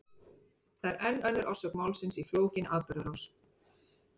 Það er enn önnur orsök málsins í flókinni atburðarás.